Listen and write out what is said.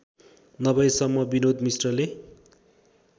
नभएसम्म विनोद मिश्रले